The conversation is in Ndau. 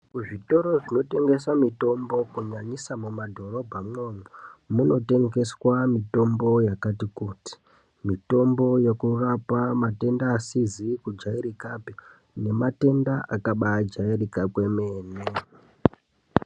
Kuzvitoro zvinotengeswa mitombo kunyanyisa mumadhorobha munomu munotengeswa mitombo yakati kuti mitombo inorapa matenda asizi kujairikapi nematenda akabaajairika kwemene.